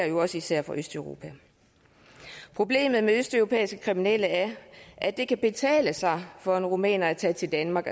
jo også især fra østeuropa problemet med østeuropæiske kriminelle er at det kan betale sig for en rumæner at tage til danmark